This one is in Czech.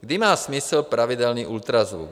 Kdy má smysl pravidelný ultrazvuk.